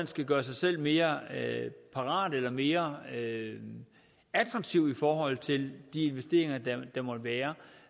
skal gøre sig selv mere parat eller mere attraktiv i forhold til de investeringer der måtte være